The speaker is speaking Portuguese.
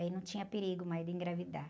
Aí não tinha perigo mais de engravidar.